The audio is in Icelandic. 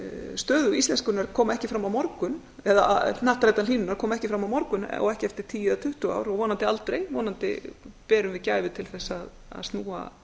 stöðu íslenskunnar koma ekki fram á morgun eða hnattrænnar hlýnunar koma ekki fram á morgun og ekki eftir tíu eða tuttugu ár og vonandi aldrei vonandi berum við gæfu til þess að snúa